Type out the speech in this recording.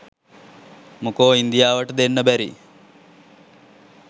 මොකෝ ඉන්දියාවට දෙන්න බැරි